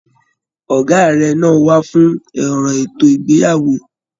Ọgá rẹ náà wà fún òrò ètò ìgbéyàwó.